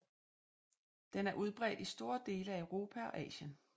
Den er udbredt i store dele af Europa og Asien